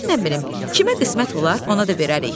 Mən nə bilim, kimə qismət olar, ona da verərik.